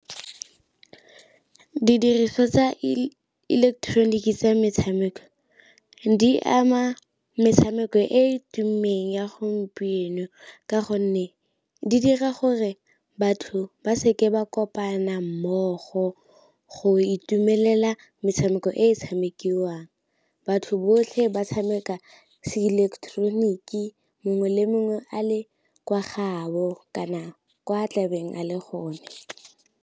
Didiriswa tsa ileketeroniki tsa metshameko di ama metshameko e e tumileng ya gompieno, ka gonne di dira gore batho ba seke ba kopana mmogo go itumelela metshameko e tshamekiwang, batho botlhe ba tshameka se ileketeroniki mongwe le mongwe a le kwa gabo kana kwa tlabeng a le gone.